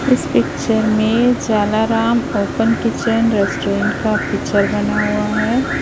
इस पिक्चर में Jalaram open kitchen restaurant का पिक्चर बना हुआ है।